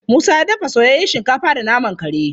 Musa ya dafa soyayyen shinkafa da naman kare.